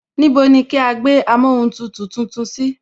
Níbo ni kí á gbé amóhuntutù tuntun sí